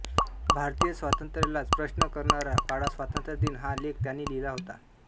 भारतीय स्वातंत्र्यालाच प्रश्न करणारा काळा स्वातंत्र्यदिन हा लेख त्यांनी लिहिला होता